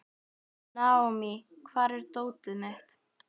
Naomí, hvar er dótið mitt?